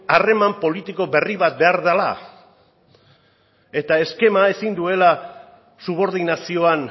harreman politiko berri bat behar dela eta eskema ezin duela subordinazioan